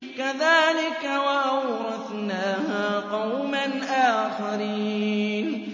كَذَٰلِكَ ۖ وَأَوْرَثْنَاهَا قَوْمًا آخَرِينَ